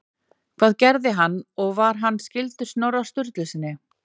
Hvað gerði hann og var hann skyldur Snorra Sturlusyni?